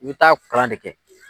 I bɛ taa kalan de kɛ.